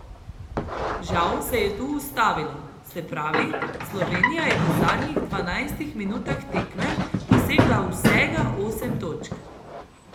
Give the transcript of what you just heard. Žal se je tu ustavilo, se pravi, Slovenija je v zadnjih dvanajstih minutah tekme dosegla vsega osem točk.